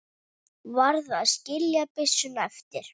Varð að skilja byssuna eftir.